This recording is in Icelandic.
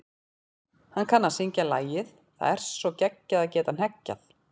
Hann kann að syngja lagið Það er svo geggjað að geta hneggjað.